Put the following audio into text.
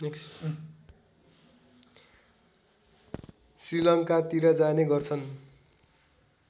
श्रीलङ्कातिर जाने गर्छन्